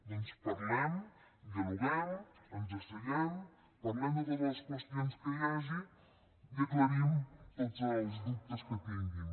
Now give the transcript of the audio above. doncs parlem dialoguem ens asseiem parlem de totes les qüestions que hi hagi i aclarim tots els dubtes que tinguin